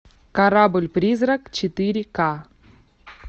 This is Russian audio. корабль призрак четыре ка